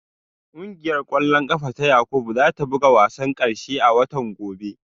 Kungiyar kwallon kafa ta Yakubu za ta buga wasan karshe a watan gobe